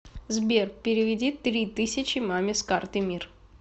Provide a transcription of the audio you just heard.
сбер переведи три тысячи маме с карты мир